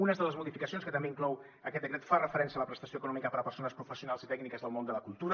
una de les modificacions que també inclou aquest decret fa referència a la prestació econòmica per a persones professionals i tècniques del món de la cultura